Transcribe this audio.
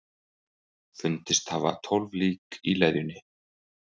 Fundist hafa tólf lík í leðjunni